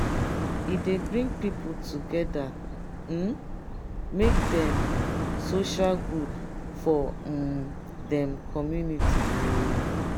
e dey bring people together um make dem social good for um dem community. um